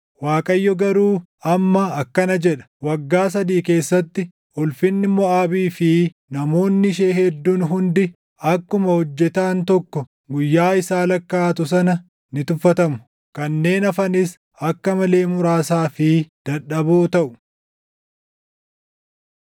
Waaqayyo garuu amma akkana jedha: “Waggaa sadii keessatti, ulfinni Moʼaabii fi namoonni ishee hedduun hundi akkuma hojjetaan tokko guyyaa isaa lakkaaʼatu sana ni tuffatamu; kanneen hafanis akka malee muraasaa fi dadhaboo taʼu.”